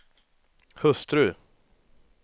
hustru